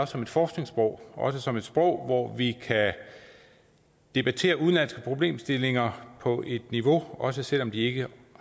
som et forskningssprog og som et sprog hvor vi kan debattere udenlandske problemstillinger på et vist niveau også selv om de ikke